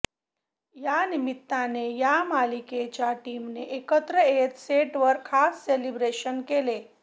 यानिमित्ताने या मालिकेच्या टीमने एकत्र येत सेटवर खास सेलिब्रेशन केले